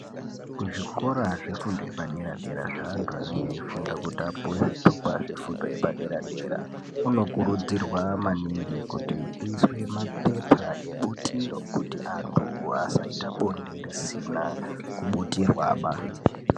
Kuzvikora zvefundo yepadera dera zveanthu anenge eifunda kuti apuwe zvitupa zvefundo uepadera dera kunokurudzirwa maningi kuti kuiswe mabepa ebutiro kuti anthu asaite bonde risina kubutirwaba.